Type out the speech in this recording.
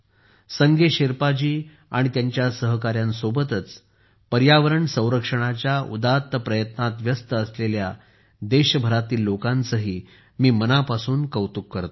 संगे शेरपाजी आणि त्यांच्या सहकाऱ्यांसोबतच पर्यावरण संरक्षणाच्या उदात्त प्रयत्नात व्यस्त असलेल्या देशभरातील लोकांचेही मी मनापासून कौतुक करतो